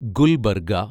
Gulbarga